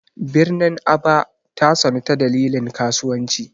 Birnin Aba ta sanu ta dalilin kasuwanci.